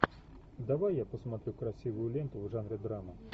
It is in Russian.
давай я посмотрю красивую ленту в жанре драма